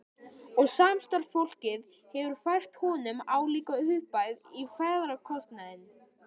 Og samstarfsfólkið hefur fært honum álíka upphæð í ferðakostnaðinn.